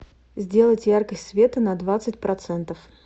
сделать яркость света на двадцать процентов